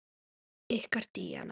Ykkar Díana.